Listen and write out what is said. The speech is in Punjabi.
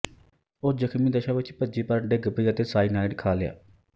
ਉਹ ਜਖ਼ਮੀ ਦਸ਼ਾ ਵਿੱਚ ਭੱਜੀ ਪਰ ਡਿੱਗ ਪਈ ਅਤੇ ਸਾਇਨਾਇਡ ਖਾ ਲਿਆ